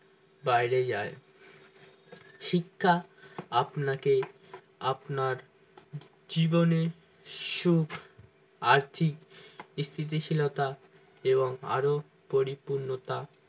বাইরে যাই শিক্ষা আপনাকে আপনার জীবনে সুখ আর্থি স্থিতিশীলতা এবং আরো পরিপূর্ণতা